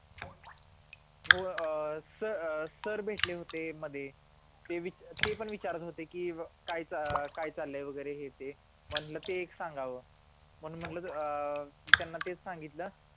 हो अह स सर भेटले होते मध्ये ते विच ते पण विचारात होते की काय काय चालय वगैरे हे ते म्हणलं ते एक सांगावं म्हणून म्हणलं अं त्यांना तेच सांगितलं